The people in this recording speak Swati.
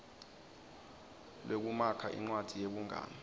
lwekumakha incwadzi yebungani